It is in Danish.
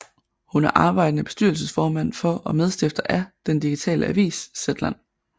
Hun er arbejdende bestyrelsesformand for og medstifter af den digitale avis Zetland